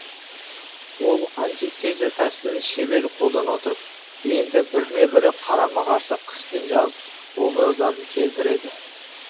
ол антитеза тәсілін шебер қолдана отырып енді біріне бірі қарама қарсы қыс пен жаз образдарын келтіреді